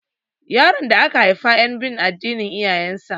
Yaron da aka haifa yan bin addinin iyayen sa